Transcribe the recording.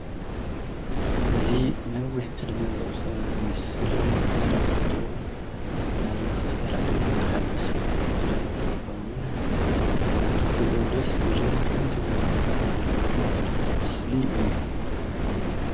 እዚ ነዊሕ ዕድመ ዘቁፀረ ዝመስል ዘርኢ ፎቶ ናይ ዝተፈላለዩ ማሕበረሰባት ትግርይ እንትኸውን ንኽትሪኦ ደስ ዝብልን ፉሉይ ተዘክሮታት ዘለዎን ዘርኢ ምስሊ እዩ፡፡